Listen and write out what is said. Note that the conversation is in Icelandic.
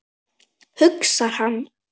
hugsar hann.